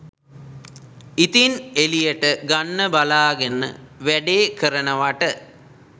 ඉතින් එලියට ගන්න බලාගෙන වැඩේ කරනවට